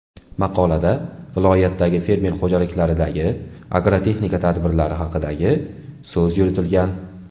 Maqolada viloyatdagi fermer xo‘jaliklaridagi agrotexnika tadbirlari haqidagi so‘z yuritilgan.